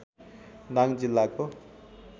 दाङ जिल्लाको